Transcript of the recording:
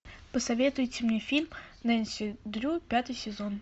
посоветуйте мне фильм нэнси дрю пятый сезон